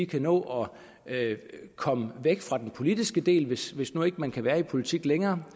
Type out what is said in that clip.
kan nå at komme væk fra den politiske del hvis hvis nu ikke man kan være i politik længere